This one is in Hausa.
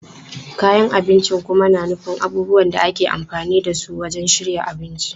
Kayan abinci kuma na nufin abubuwan da ake amfani da su wajen shirya abinci.